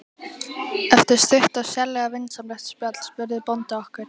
Eftir stutt og sérlega vinsamlegt spjall spurði bóndi okkur